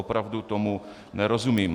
Opravdu tomu nerozumím.